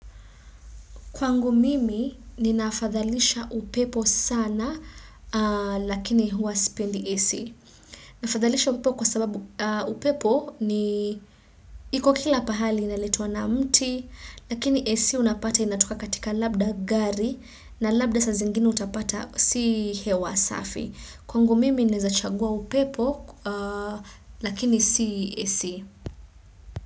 Kwangu mimi, ninafadhalisha upepo sana, lakini huwa spendi AC. Nafadhalisha upepo kwa sababu upepo ni iko kila pahali ineletwa na mti, lakini AC unapata inatoka katika labda gari, na labda saa zingine utapata si hewa safi. Kwangu mimi, naeza chagua upepo, lakini si AC.